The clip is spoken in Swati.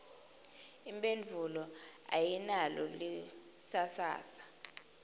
imphendvulo ayinalo lisasasa